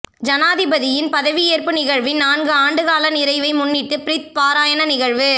ஜனாதிபதியின் பதவியேற்பு நிகழ்வின் நான்கு ஆண்டுகால நிறைவை முன்னிட்டு பிரித் பாராயண நிகழ்வு